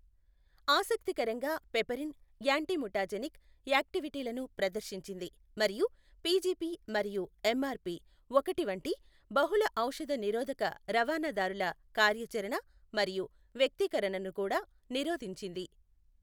ఆసక్తికరంగా piperine antimutagenic యాక్టివిటీలను ప్రదర్శించింది మరియు పి జిపి మరియు ఎంఆర్ పి ఒకటి వంటి బహుళఔషధ నిరోధక రవాణాదారుల కార్యాచరణ మరియు వ్యక్తీకరణను కూడా నిరోధించింది.